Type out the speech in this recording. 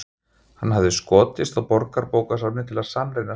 Hann hafði skotist á Borgarbókasafnið til að sannreyna svarið.